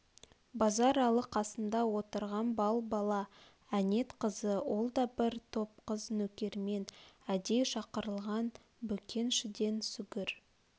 базаралы қасында отырған балбала әнет қызы ол да бір топ қыз нөкермен әдей шақырылған бөкеншіден сүгір